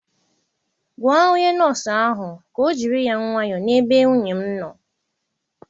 Gwa onye nọọsụ ahụ ka ọ jiri ya nwayọ na-ebe nwunye m nọọ.